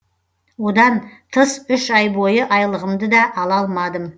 одан тыс үш ай бойы айлығымды да ала алмадым